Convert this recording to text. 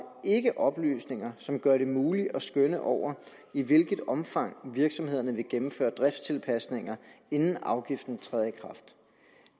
ikke oplysninger som gør det muligt at skønne over i hvilket omfang virksomhederne vil gennemføre driftstilpasninger inden afgiften træder i kraft